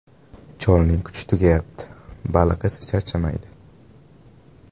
Cholning kuchi tugayapti, baliq esa charchamaydi.